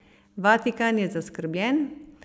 Vatikan je zaskrbljen.